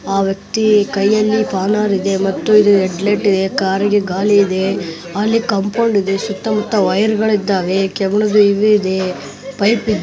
ಆ ವ್ಯಕ್ತಿ ಕೈಯಲ್ಲಿ ಸ್ಪೋನರ್ ಇದೆ ಮತ್ತು ಇದು ರೆಡ್ ಲೈಟ್ ಇದೆ ಕಾರು ಗೆ ಗಾಳಿ ಇದೆ ಅಲ್ಲಿ ಕಂಪೌಡ ಇದೆ ಸುತ್ತ ಮುತ್ತ ವೈರ್ ಗಳು ಇದ್ದವೆ ಕೆಬಿನದ್ದು ಇದು ಇದೆ ಪೈಪ್ ಈ --